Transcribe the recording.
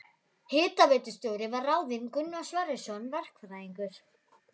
Hitaveitustjóri var ráðinn Gunnar Sverrisson verkfræðingur.